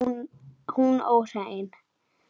Hún óhrein.